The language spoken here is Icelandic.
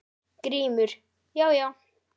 GRÍMUR: Já, já!